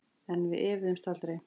En við efuðumst aldrei.